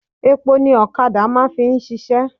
Epo ni ọ̀kadà máà ń fi ṣiṣẹ́.